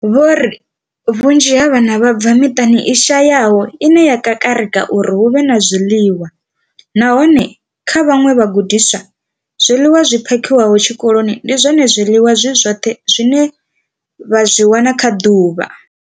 Vho ri vhunzhi ha vhana vha bva kha miṱa i shayaho ine ya kakarika uri hu vhe na zwiḽiwa, nahone kha vhaṅwe vhagudiswa, zwiḽiwa zwi phakhiwaho tshikoloni ndi zwone zwiḽiwa zwi zwoṱhe zwine vha zwi wana kha ḓuvha.